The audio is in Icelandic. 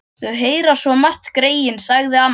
Þau heyra svo margt, greyin, sagði amma.